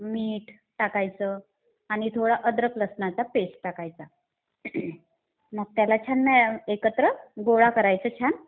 मीठ टाकायचं आणि थोडं अद्रक लसणाचा पेस्ट टाकायचा. मग त्याला छान एकत्र गोळा करायचा छान.